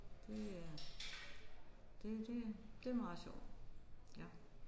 Det er det det er det er meget sjovt ja